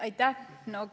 Aitäh!